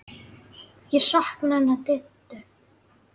Ég sakna hennar Diddu.